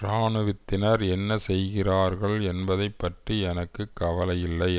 இராணுவத்தினர் என்ன செய்கிறார்கள் என்பதை பற்றி எனக்கு கவலையில்லை